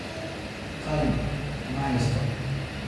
Qalin maheysto